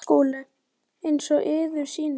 SKÚLI: Eins og yður sýnist.